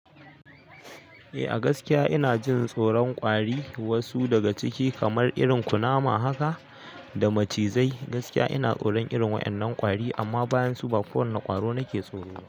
Eh a gaskiya ina jin tsoron ƙwari, wasu daga ciki kamar irin kunama haka da macizai gaskiya ina tsoron irin wa'ennan ƙwari, amma bayansu ko wane irin ƙwaro nake tsoro ba.